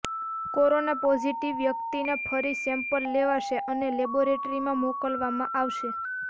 corona positive વ્યક્તિના ફરી sample લેવાશે અને લેબોરેટરીમાં મોકલવામાં આવશે